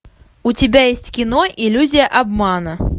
у тебя есть кино иллюзия обмана